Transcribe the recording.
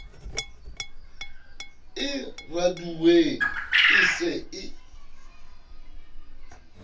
e raduweng e se e